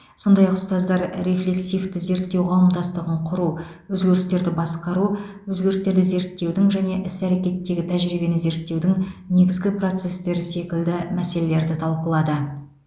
сондай ақ ұстаздар рефлексивті зерттеу қауымдастығын құру өзгерістерді басқару өзгерістерді зерттеудің және іс әрекеттегі тәжірибені зерттеудің негізгі процестері секілді мәселелерді талқылады